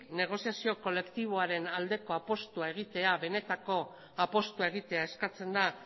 negoziazio kolektiboaren aldeko apustua egitea benetako apustua egitea eskatzen da